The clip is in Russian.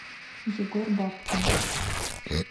егор бабкин